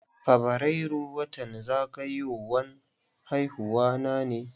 Fabrairu watan zagayowan haihuwa na ne.